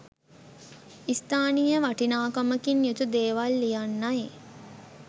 ස්ථානිය වටිනාකමකින් යුතු දේවල් ලියන්නයි.